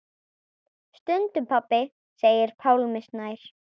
Stundum pabbi segir Pálmi Snær.